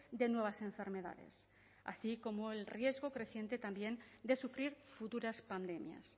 de nuevas enfermedades así como el riesgo creciente también de sufrir futuras pandemias